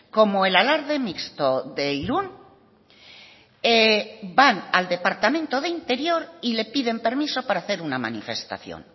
como el alarde mixto de irún van al departamento de interior y le piden permiso para hacer una manifestación